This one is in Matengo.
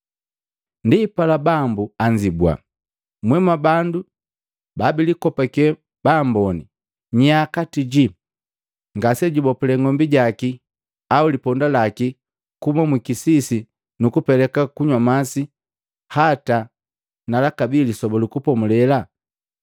Ndipala Bambu anzibua, “Mwee mwabandu babilikopake baambone! Nyaa kati ji ngase jubopulee ng'ombi jaki au liponda laki kuuma mwikisisi nukupeleka kunywa masi, hata na lakabi Lisoba lu Kupomulela?